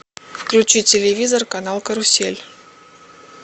включи телевизор канал карусель